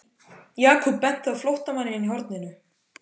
Jakob benti á flóttamanninn í horninu.